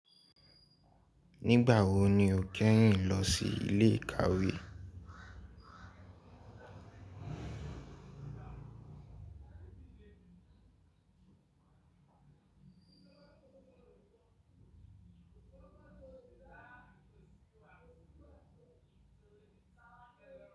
Nígbà wo ni o kẹ́yìn lọ sí ilé ìkàwé?